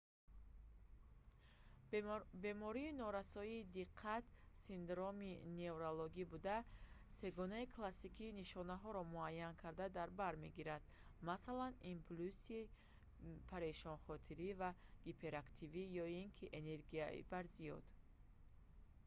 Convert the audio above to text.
бемории норасоии диққат синдроми неврологи буда сегонаи классикии нишонаҳоро муаян карда дар бар мегирад масалан импулсият парешонхотирӣ ва гиперактивӣ ё ин ки энергияи барзиёд